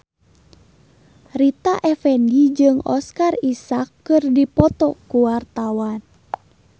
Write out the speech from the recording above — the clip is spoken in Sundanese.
Rita Effendy jeung Oscar Isaac keur dipoto ku wartawan